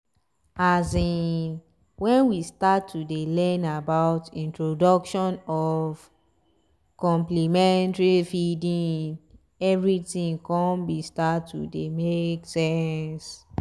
azinn when we start to dey learn about introduction of complementary feeding everything con be start to dey make sense